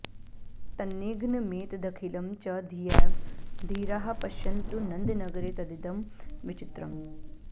तन्निघ्नमेतदखिलं च धियैव धीराः पश्यन्तु नन्दनगरे तदिदं विचित्रम्